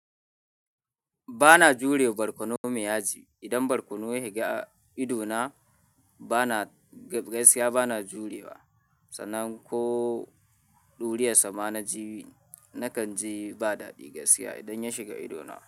Bana jurewa barkono mai yaji. Idan barkono ya shiga idona bana, gaskiya bana jurewa. Sanan ko ɗuriyarsa sama naji, nakan ji ba daɗi gaskiya idan ya shiga idona.